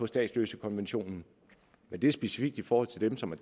statsløsekonventionen men det er specifikt i forhold til dem som er